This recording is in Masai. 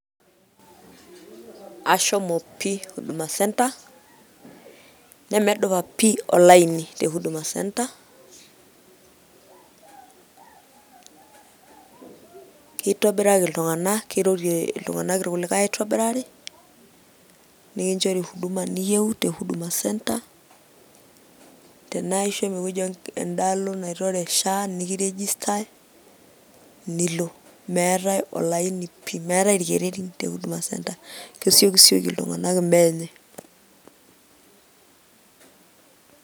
Ashomo pii Huduma Centre nemedupa pii olaini te Huduma Centre kitobirari iltung'anak kirorie iltung'anak irkulikae aitobiraki nikinchori huduma niyieu te Huduma Centre tenaa ishomo ewueji endaalo naitore SHA nikirejistai nilo meetai olaini pii, meetai irkererin te Huduma Centre kesiokisioki iltung'anak imbaa enye.